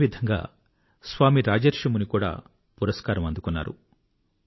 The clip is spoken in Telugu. అదే విధంగా స్వామీ రాజర్షి ముని కూడా పురస్కారం అందుకున్నారు